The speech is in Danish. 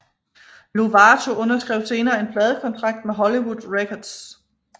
Lovato underskrev senere en pladekontrakt med Hollywood Records